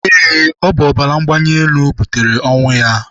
Eé, ọ bụ ọbara mgbali elu ahụ butere ọnwụ ya.